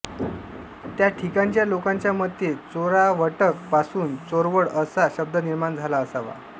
त्या ठिकाणच्या लोकांच्या मते चोरावटक पासून चोरवड असा शब्द निर्माण झाला असावा